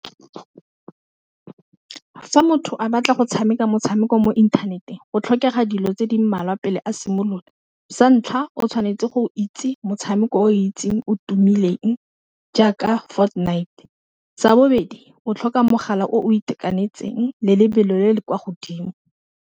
Fa motho a batla go tshameka motshameko mo inthaneteng go tlhokega dilo tse di mmalwa pele a simolola, sa ntlha o tshwanetse go itse motshameko o itseng o tumileng jaaka Ford Night sa bobedi o tlhoka mogala o itekanetseng le lebelo le le kwa godimo.